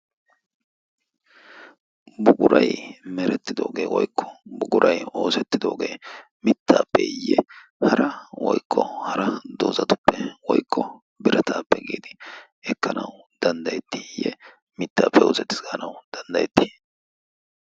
buguray merettidoogee woykko bugurai oosettidoogee mittaappeeyye hara woykqo hara doozatuppe woikqo birataappe giidi ekkanau danddayettiiyye mittaappe oosettigaanau danddayetti?